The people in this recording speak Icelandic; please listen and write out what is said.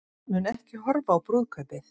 Mun ekki horfa á brúðkaupið